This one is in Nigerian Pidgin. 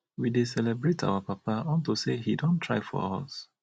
we dey celebrate our papa unto say e don try for us